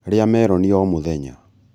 rĩa meroni o mũthenya